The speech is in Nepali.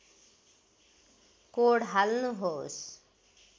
कोड हाल्नुहोस्